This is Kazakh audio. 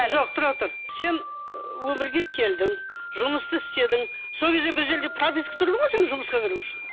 жоқ тұра тұр сен өмірге келдің жұмысты істедің сол кезде бір жерге пропискаға тұрдың ғой сен жұмысқа кіру үшін